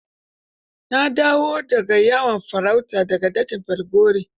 Na dawo da ga yawon farauta da ga dajin Falgore.